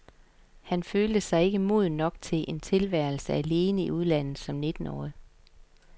Han følte sig ikke moden nok til en tilværelse alene i udlandet som nittenårig.